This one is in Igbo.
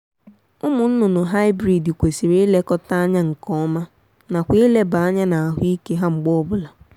ụmụ nnụnụ hybrid kwesịrị ilekọta anya nkeọma nakwa ileba anya n'ahụ ike ha mgbe ọ bụla